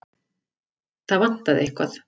Það vantaði eitthvað.